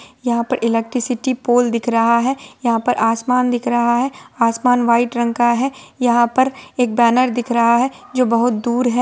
यहाँ पर electricity pole दिख रहा है| यहाँ पर आसमान दिख रहा है| आसमान वाइट रंग का है| यहाँ पर एक बैनर दिख रहा है जो बहुत दूर है।